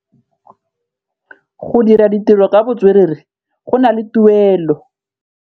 Go dira ditirô ka botswerere go na le tuelô.